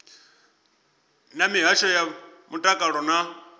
na mihasho ya mutakalo na